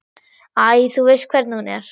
Æ, þú veist hvernig hún er.